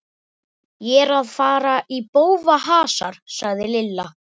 Ég er að fara í bófahasar sagði Lilla.